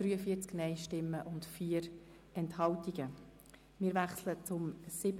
Wir wechseln zum Themenblock 7.c Prostitutionsgewerbe.